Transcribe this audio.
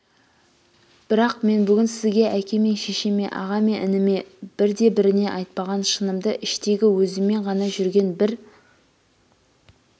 бірақ мен бүгін сізге әке мен шешеме аға мен ініме бірде-біріне айтпаған шынымды іштегі өзіммен ғана жүрген бір